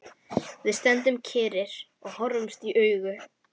Við stöndum kyrrir og horfumst í augu.